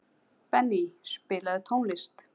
Benný, spilaðu tónlist.